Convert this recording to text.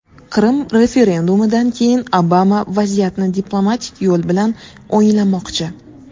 Qrim referendumidan keyin Obama vaziyatni diplomatik yo‘l bilan o‘nglamoqchi.